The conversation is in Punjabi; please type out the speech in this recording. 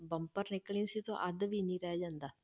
ਬੰਪਰ ਨਿਕਲਣੀ ਸੀ ਉਹ ਤੋਂ ਅੱਧ ਵੀ ਨੀ ਰਹਿ ਜਾਂਦਾ।